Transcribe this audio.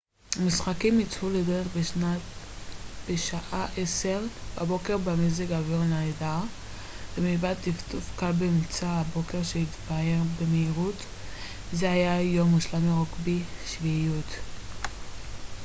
המשחקים יצאו לדרך בשעה 10:00 בבוקר במזג אוויר נהדר ומלבד טפטוף קל באמצע הבוקר שהתבהר במהירות זה היה יום מושלם לרוגבי שביעיות